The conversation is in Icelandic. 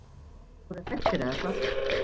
Ekki voru þeir hræddir eða hvað?